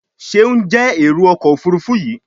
Seun jé Èrò ọkọ̀ òfurufú yi.